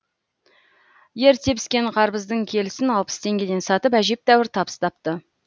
ерте піскен қарбыздың келісін алпыс теңгеден сатып әжептәуір табыс тапты